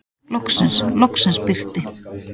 Loksins, loksins birti.